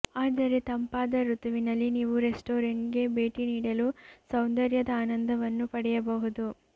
ಆದರೆ ತಂಪಾದ ಋತುವಿನಲ್ಲಿ ನೀವು ರೆಸ್ಟಾರೆಂಟ್ಗೆ ಭೇಟಿ ನೀಡಲು ಸೌಂದರ್ಯದ ಆನಂದವನ್ನು ಪಡೆಯಬಹುದು